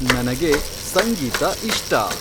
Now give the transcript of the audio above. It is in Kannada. ನನಗೆ ಸಂಗೀತ ಇಷ್ಟ